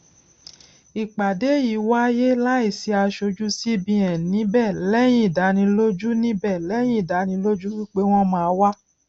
ìpàdé yìí wáyé láì sì asojú cbn níbẹ lẹyìn ìdánilójú níbẹ lẹyìn ìdánilójú wípé wọn máa wá